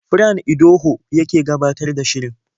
Fran Idoho yake gabatar da shirin.